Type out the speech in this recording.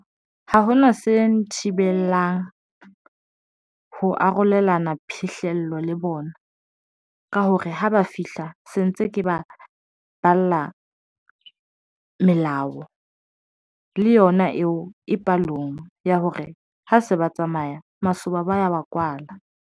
Ha ho na se nthibelang ho arolelana phihlello le bona ka hore ha ba fihla se ntse ke ba balla melao le yona eo e palong ya hore ha se ba tsamaya masoba ba ya wa kwala.